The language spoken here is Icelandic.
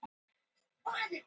Laugarvatni